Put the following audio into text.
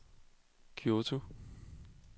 Kyoto